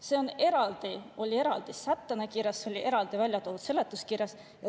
See oli eraldi sättena kirjas, see oli eraldi välja toodud seletuskirjas.